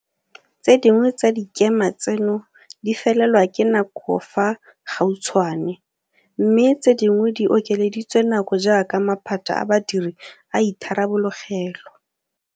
Tse dingwe tsa dikema tseno di felelwa ke nako fa gautshwane, mme tse dingwe di okeleditswe nako jaaka maphata a badiri a itharabologelwa.